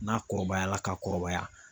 N'a kɔrɔbayala ka kɔrɔbaya